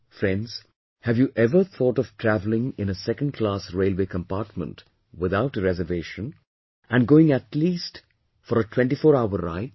Friends have you ever thought of travelling in a Second Class railway Compartment without a reservation, and going for atleast a 24 hours ride